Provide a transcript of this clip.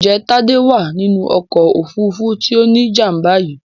Ǹjẹ́ Tádé wà nínú ọkọ̀ òfurufú tí ó ní jàm̀bà yìí